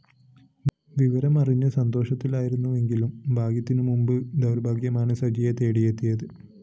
വിവരം അറിഞ്ഞ് സന്തോഷത്തിലായിരുന്നുവെങ്കിലും ഭാഗ്യത്തിനു മുന്‍പ് ദൗര്‍ഭാഗ്യമാണ് സജിയെ തേടിയെത്തിയത്